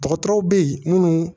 Dɔgɔtɔrɔw bɛ ye munnu